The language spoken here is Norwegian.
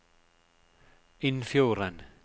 Innfjorden